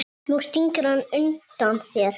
Nú stingur hann undan þér!